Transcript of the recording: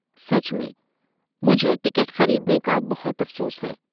سچ میں، مجھے ٹکٹ خریدنے کا بہت افسوس ہے۔